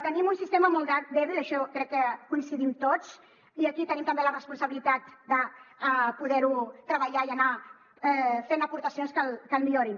tenim un sistema molt dèbil en això crec que coincidim tots i aquí tenim també la responsabilitat de poder hi treballar i anar fent aportacions que el millorin